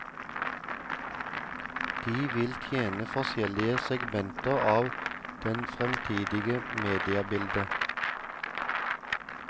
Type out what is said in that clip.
De vil tjene forskjellige segmenter av det fremtidige mediebildet.